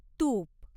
तुप